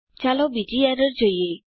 ચાલો બીજી એરર જોઈએ